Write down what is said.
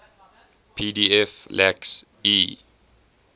pdf lacks e